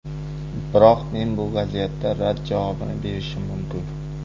Biroq men bu vaziyatda rad javobini berishim mumkin.